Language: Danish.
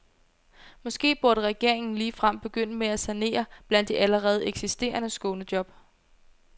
Måske burde regeringen ligefrem begynde med at sanere blandt de allerede eksisterende skånejob.